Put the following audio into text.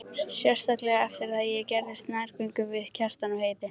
Sérstaklega eftir að ég gerðist nærgöngul við Kjartan og Heiðu.